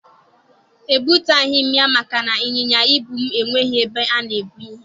E butaghị m ya maka na ịnyịnya ibu m enweghị ebe a na-ebu ihe.